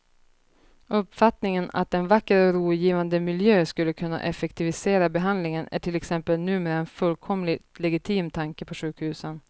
Uppfattningen att en vacker och rogivande miljö skulle kunna effektivisera behandlingen är till exempel numera en fullkomligt legitim tanke på sjukhusen.